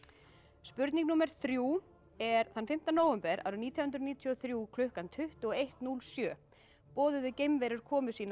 spurning númer þrjú er þann fimmta nóvember árið nítján hundruð níutíu og þrjú klukkan tuttugu og eitt núll sjö boðuðu geimverur komu sína á